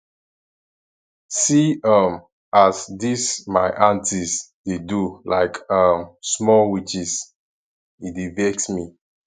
see um as dese my aunties dey do like um small witches e dey vex me